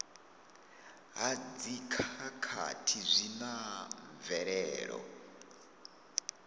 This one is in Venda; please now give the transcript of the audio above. ha dzikhakhathi zwi na mvelelo